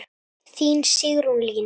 Þín Sigrún Lína.